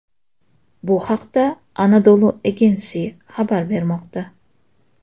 Bu haqda Anadolu Agency xabar bermoqda .